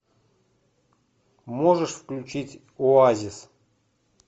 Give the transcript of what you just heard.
можешь включить оазис